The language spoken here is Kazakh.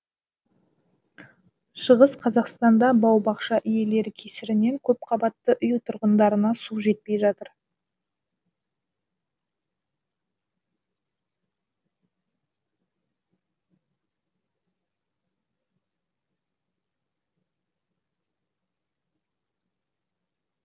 шығыс қазақстанда бау бақша иелері кесірінен көпқабатты үй тұрғындарына су жетпей жатыр